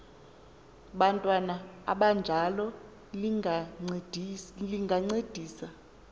bantwana abanjalo lingancedisa